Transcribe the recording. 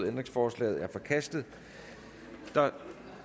ændringsforslaget er forkastet der